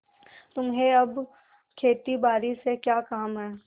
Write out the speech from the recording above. तुम्हें अब खेतीबारी से क्या काम है